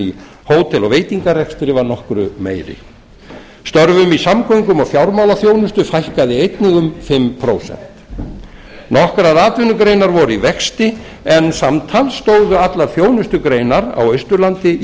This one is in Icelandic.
í hótel og veitingarekstri var nokkru meiri störfum í samgöngu og fjármálaþjónustu fækkaði einnig um fimm prósent nokkrar atvinnugreinar voru í vexti en samtals stóðu allar þjónustugreinar á austurlandi í